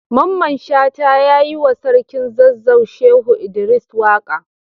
Mamman shata ya yi wa sarkin zazzau Shehu Idris waka.